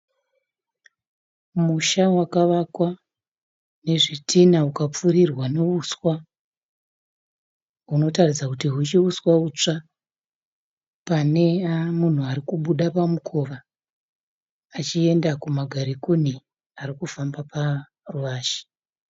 Musha wakavakwa nezvitinha ukapfurirwa nehuswa hunoratidza kuti huchiri huswa hutsva. Pane munhu arikubuda pamukova achienda kumagarikoni arikufamba panze.